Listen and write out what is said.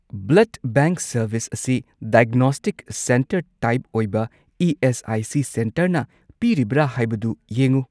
Blood bank service ꯑꯁꯤ diagnostic centre type ꯑꯣꯏꯕ ESIC. ꯁꯦꯟꯇꯔꯅ ꯄꯤꯔꯤꯕ꯭ꯔꯥ ꯍꯥꯏꯕꯗꯨ ꯌꯦꯡꯎ꯫